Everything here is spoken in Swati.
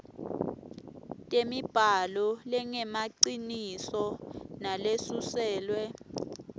temibhalo lengemaciniso nalesuselwe